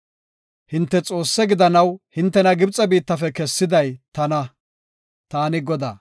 Hinte Xoosse gidanaw hintena Gibxe biittafe kessiday tana. Taani Godaa.”